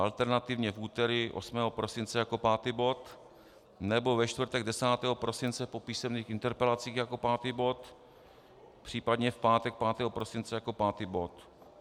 Alternativně v úterý 8. prosince jako pátý bod, nebo ve čtvrtek 10. prosince po písemných interpelacích jako pátý bod, případně v pátek 5. prosince jako pátý bod.